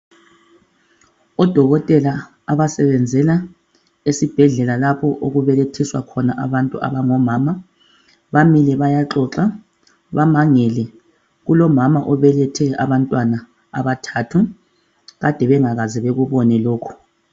Odokotela abasebenzela esibhedlela lapho okubelethela khona abantu abangomama, bamile bayaxoxa bamangele kulomama obelethe abantwana abathathu kade bengakaze bekubone lokhu.